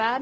Bern: